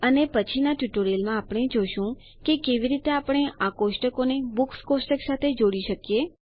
અને પછીના ટ્યુટોરીયલમાં આપણે જોશું કે કેવી રીતે આપણે આ કોષ્ટકોને બુક્સ કોષ્ટક સાથે જોડી શકાય